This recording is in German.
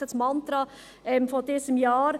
Es ist das Mantra dieses Jahres.